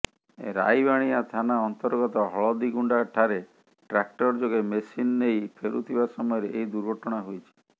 ରାଇବାଣିଆ ଥାନା ଅନ୍ତର୍ଗତ ହଳଦିଗୁଣ୍ଡା ଠାରେ ଟ୍ରାକ୍ଟର ଯୋଗେ ମେସିନ ନେଇ ଫେରୁଥିବା ସମୟରେ ଏହି ଦୁର୍ଘଟଣା ହୋଇଛି